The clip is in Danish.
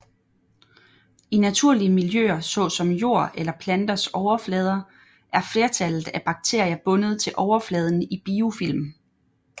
I naturlige miljøer såsom jord eller planters overflader er flertallet af bakterier bundet til overfladen i biofilm